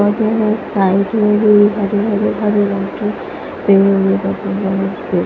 और यह एक साइकिल भी है हरी हरी हरे रंग की और--